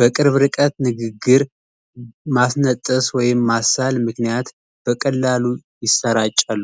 በቅርብ ርቀት ንግግር ማስነጠስ ወይም ማሳል ምክንያት በቀላሉ ይሰራጫሉ።